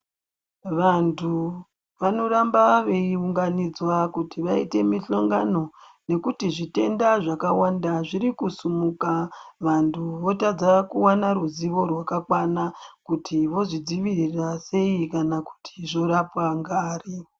Vantu vanoramba veiunganidzwa kuti vaite mihlongano nekuti zvitenda zvakawanda zviri kusumuka. Vantu votadza kuwana ruzivo rwakakwana kuti vozvidzivirira sei kana kuti zvorapwa ngari.